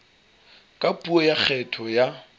ka puo ya kgetho ya